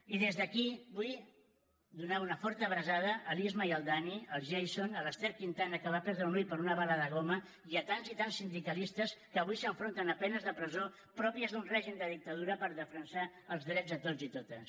i des d’aquí vull donar una forta abraçada a l’isma i al dani al jason a l’ester quintana que va perdre un ull per una bala de goma i a tants i tants sindicalistes que avui s’enfronten a penes de presó pròpies d’un règim de dictadura per defensar els drets de tots i totes